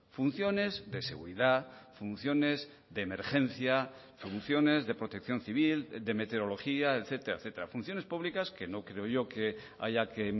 funciones de seguridad funciones de emergencia funciones de protección civil de meteorología etcétera etcétera funciones públicas que no creo yo que haya que